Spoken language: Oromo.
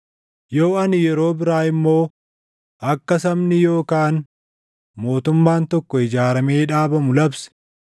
Yoo ani yeroo biraa immoo akka sabni yookaan mootummaan tokko ijaaramee dhaabamu labse,